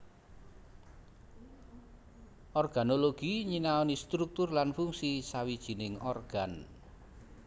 Organologi nyinaoni struktur lan fungsi sawijining organ